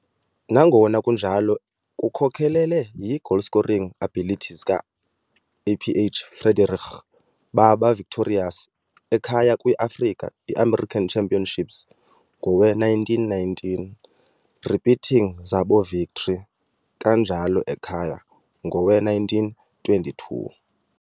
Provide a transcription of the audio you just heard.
nangona Kunjalo, kukhokelele yi-goalscoring abilities ka - Aph Friedenreich, baba victorious ekhaya kwi - Afrika i-american Championships ngowe - 1919, repeating zabo victory, kanjalo ekhaya, ngowe - 1922.